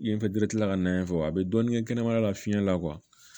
I ye kila ka na yen fɔ a bi dɔɔnin kɛ kɛnɛmana la fiɲɛn la